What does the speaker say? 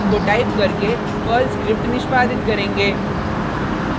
को टाइप करके Perl script निष्पादित करेंगे